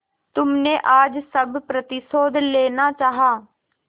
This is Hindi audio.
तुमने आज सब प्रतिशोध लेना चाहा